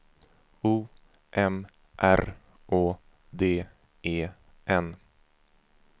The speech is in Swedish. O M R Å D E N